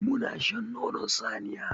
Muna shan nonon saniya.